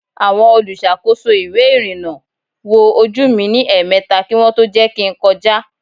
Àwọn olùṣàkóso ìwé ìrìnà wo ojú mi ní èèmeta kí wọn tó jẹ́ kin kọjá